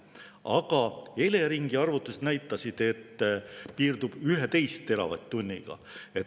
Aga Eleringi arvutused näitasid, et see piirdub 11 teravatt-tunniga.